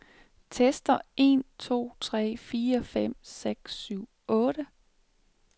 Tester en to tre fire fem seks syv otte.